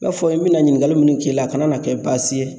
I b'a fɔ n bɛna ɲiningali munni k'i la a ka na kɛ baasi ye